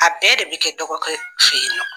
A bɛɛ de bɛ kɛ dɔgɔ kɛ fɛ yen nɔ.